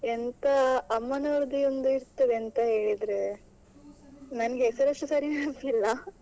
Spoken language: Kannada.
ಎಂಥ ಅಮ್ಮನವರದೇ ಒಂದು ಇರ್ತದೆ ಎಂತ ಹೇಳಿದ್ರೆ ನನ್ಗೆ ಹೆಸರುಸ ಸರಿ ನೆನಪಿಲ್ಲ.